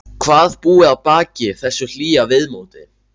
Hvað búi að baki þessu hlýja viðmóti.